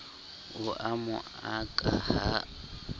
o a mo aka ha